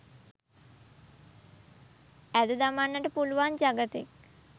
ඇද දමන්නට පුළුවන් ජගතෙක්